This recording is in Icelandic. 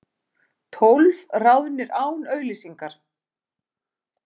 Tólf ráðnir án auglýsingar